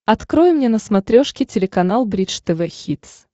открой мне на смотрешке телеканал бридж тв хитс